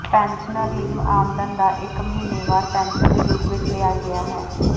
pensioner ਲਈ ਆਮਦਨ ਦਾ ਇੱਕ ਮਹੀਨੇਵਾਰ ਪੈਨਸ਼ਨ ਦੇ ਰੂਪ ਵਿੱਚ ਲਿਆ ਗਿਆ ਹੈ